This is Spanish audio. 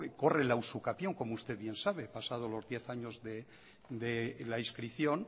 corre la usucapión como usted ya sabe pasados los diez años de inscripción